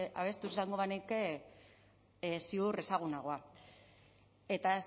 abestuz esango banu ziur ezagunagoa eta